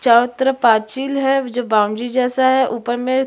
चारों तरफ पार्चील है जो बॉउंड्री जैसा है ऊपर में --